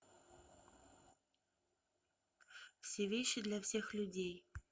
все вещи для всех людей